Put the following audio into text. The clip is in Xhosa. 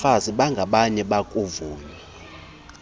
bafazi bangabanye bayakuvunywa